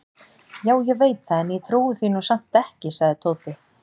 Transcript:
Já, ég veit það en ég trúi því nú samt ekki sagði Tóti.